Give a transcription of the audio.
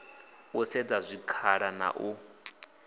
u sedza zwikhala na u